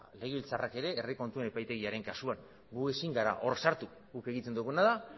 legebiltzarrak ere herri kontuen epaitegiaren kasuan gu ezin gara hor sartu guk egiten duguna da